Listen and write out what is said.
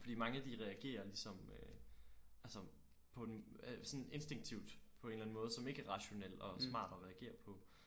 Fordi mange de reagerer ligesom øh altså på den øh sådan instinktivt på en eller anden måde som ikke er rationel og smart at reagere på